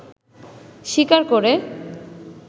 স্বীকার করে